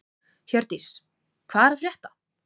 Hjördís, hvað er að frétta?